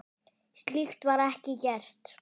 Slíkt var ekki gert.